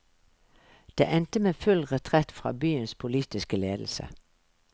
Det endte med full retrett fra byens politiske ledelse.